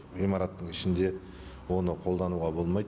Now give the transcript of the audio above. ғимараттың ішінде оны қолдануға болмайды